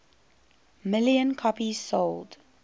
million copies sold